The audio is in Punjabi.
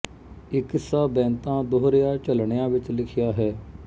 ਇਹ ਕਿੱਸਾ ਬੈਂਤਾ ਦੋਹਰਿਆ ਝਲਣਿਆ ਵਿੱਚ ਲਿਖਿਆ ਹੈ